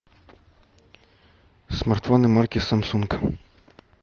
смартфоны марки самсунг